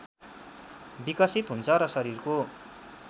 विकसित हुन्छ र शरीरको